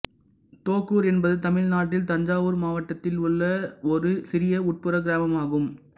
தோகூர் என்பது தமிழ்நாட்டின் தஞ்சாவூர் மாவட்டத்தில் உள்ள ஒரு சிறிய உட்புற கிராமமாகும்